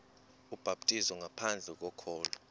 ubhaptizo ngaphandle kokholo